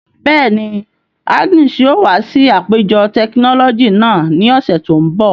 Bẹ́ẹ̀ni, Agnes yóò wa si apejọ tekinọlọji naa ni ọsẹ to nbọ.